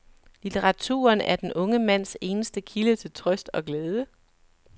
Litteraturen er den unge mands eneste kilde til trøst og glæde.